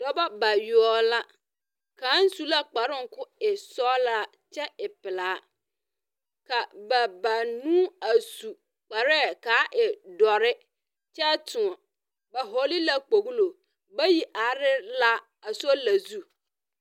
Dɔbɔ bayoɔ la. Kaŋ su la kparoŋ k'o e sɔɔla kyɛ e pelaa. Ka ba banuu a su kparɛɛ k'a e dɔrre. Kyɛ toŋ ba hɔɔle la kpoglo. Bayi are la a sola zu.